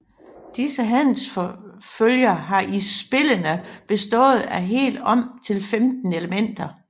Disse handelsfølger har i spillene bestået af helt om til 15 elementer